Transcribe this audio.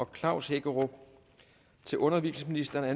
klaus hækkerup til undervisningsministeren er